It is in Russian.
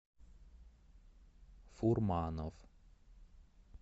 фурманов